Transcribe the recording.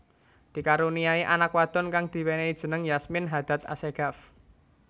Dikaruniai anak wadon kang diwenehi jeneng Yasmin Hadad Assegaf